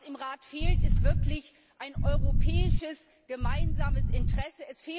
Was im Rat fehlt, ist wirklich ein europäisches, gemeinsames Interesse.